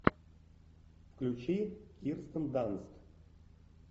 включи кирстен данст